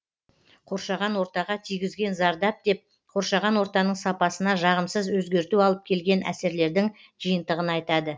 қоршаған ортаға тигізген зардап деп қоршаған ортаның сапасына жағымсыз өзгерту алып келген әсерлердің жиынтығын айтады